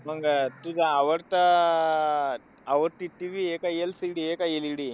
मंग तुझं आवडता अह आवडती TV आहे की, अं LCD की LED आहे?